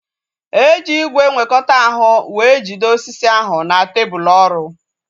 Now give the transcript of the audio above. Eji ígwè nwekọta ahu wee jide osisi ahu na tebụl ọrụ